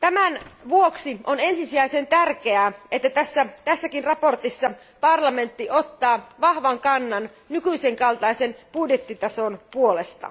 Tämän vuoksi on ensisijaisen tärkeää, että tässäkin mietinnössä parlamentti ottaa vahvan kannan nykyisen kaltaisen budjettitason puolesta.